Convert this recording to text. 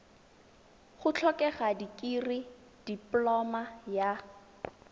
go tlhokega dikirii dipoloma ya